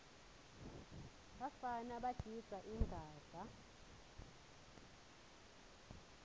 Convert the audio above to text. bafana bagidza ingadla